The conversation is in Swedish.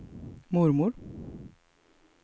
mormor